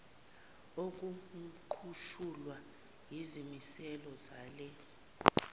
okuqutshulwa yizimiselo zale